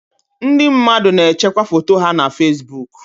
Ndị mmadụ na-echekwa foto ha na Fesibuku.